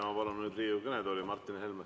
Ma palun nüüd Riigikogu kõnetooli Martin Helme.